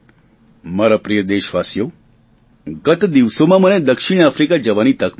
મારા પ્રિય દેશવાસીઓ ગત દિવસોમાં મને દક્ષિણ આફ્રીકા જવાની તક મળી